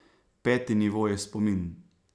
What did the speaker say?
Peti nivo je spomin.